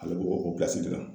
Ale bɛ o o pilasi de la